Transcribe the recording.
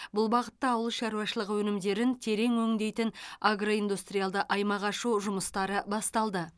бұл бағытта ауыл шаруашылығы өнімдерін терең өңдейтін агроиндустриалды аймақ ашу жұмыстары басталды